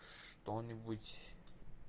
что-нибудь